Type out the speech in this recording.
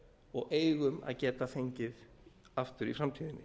og eigum að geta fengið aftur í framtíðinni